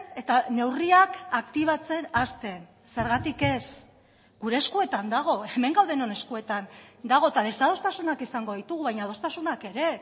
eta neurriak aktibatzen hasten zergatik ez gure eskuetan dago hemen gaudenon eskuetan dago eta desadostasunak izango ditugu baina adostasunak ere